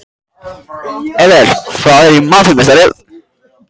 Edel, hvað er í matinn á miðvikudaginn?